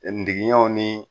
Ɛɛ ndigiɲɛw ni